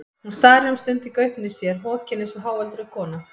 Hún starir um stund í gaupnir sér, hokin eins og háöldruð kona.